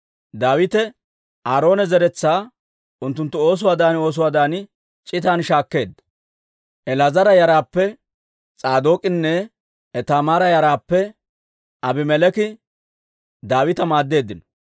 Daawite Aaroona zeretsaa unttunttu oosuwaadan oosuwaadan c'itan shaakkeedda. El"aazara yaraappe S'aadook'inne Itaamaara yaraappe Abimeleeki Daawita maaddeeddino.